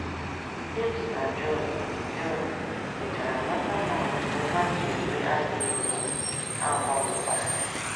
Jems na Jọn Jọn mechara mata na otú ha si eme adịghị mma, ha gbanwekwara.